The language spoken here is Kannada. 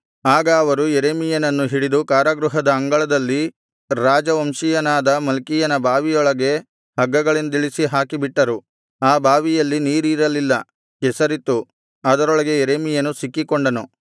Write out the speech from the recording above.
ಆಗ ಅವರು ಯೆರೆಮೀಯನನ್ನು ಹಿಡಿದು ಕಾರಾಗೃಹದ ಅಂಗಳದಲ್ಲಿ ರಾಜವಂಶೀಯನಾದ ಮಲ್ಕೀಯನ ಬಾವಿಯೊಳಗೆ ಹಗ್ಗಗಳಿಂದಿಳಿಸಿ ಹಾಕಿಬಿಟ್ಟರು ಆ ಬಾವಿಯಲ್ಲಿ ನೀರಿರಲಿಲ್ಲ ಕೆಸರಿತ್ತು ಅದರೊಳಗೆ ಯೆರೆಮೀಯನು ಸಿಕ್ಕಿಕೊಂಡನು